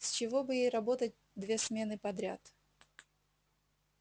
с чего бы ей работать две смены подряд